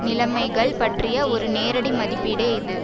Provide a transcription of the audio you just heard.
நிலமைகள் பற்றிய ஒரு நேரடி மதிப்பீடே இது